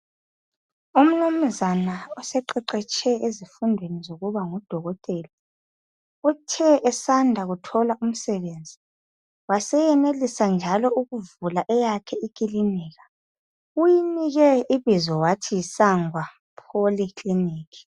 Umnumzana oseqheqhetshe ezifundweni zokuba ngudokotela, uthe esanda kuthola umsebenzi waseyenelisa njalo ukuvula eyakhe ikilinika. Uyinike ibizo wathi Sangwa Poly kilinikhi.